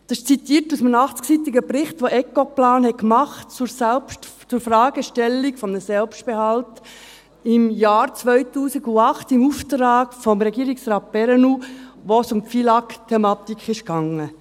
» Das ist ein Zitat aus einem 80-seitigen Bericht, den Ecoplan zur Fragestellung eines Selbstbehalts im Jahr 2008 im Auftrag von Regierungsrat Perrenoud erstellt hat, wo es um die FILAG-Thematik ging.